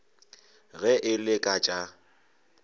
ge e le ka tša